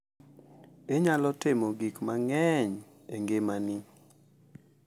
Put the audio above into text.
Inyalo timo gik mang’eny e ngimani.